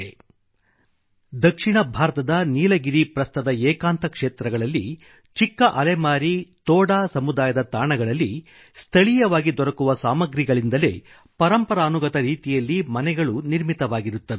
• ದಕ್ಷಿಣ ಭಾರತದ ನೀಲಗಿರಿ ಪ್ರಸ್ಥದ ಏಕಾಂತ ಕ್ಷೇತ್ರಗಳಲ್ಲಿ ಚಿಕ್ಕ ಅಲೆಮಾರಿ ತೋಡಾ ಸಮುದಾಯದ ತಾಣಗಳಲ್ಲಿ ಸ್ಥಳೀಯವಾಗಿ ದೊರಕುವ ಸಾಮಗ್ರಿಗಳಿಂದಲೇ ಪರಂಪರಾನುಗತ ರೀತಿಯಲ್ಲೇ ನಿರ್ಮಿತವಾಗಿರುತ್ತವೆ